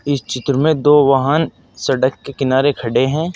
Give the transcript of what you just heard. इस चित्र में दो वाहन सड़क के किनारे खड़े हैं।